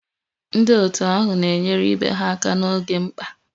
Ndị otu ahụ na-enyere ibe ha aka n'oge mkpa